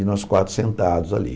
E nós quatro sentados ali.